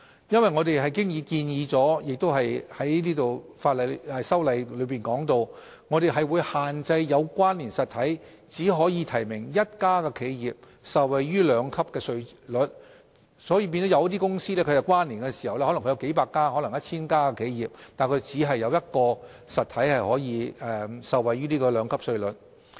因為我們已在修例中建議並提及會限制"有關連實體"只可提名一家企業受惠於兩級稅率，有些可能有數百或 1,000 家企業的有關連公司便因而只有當中一個實體可以受惠於此兩級稅率。